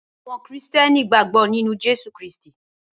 Awòn Kristièní gbágbò ninú Jesu Christi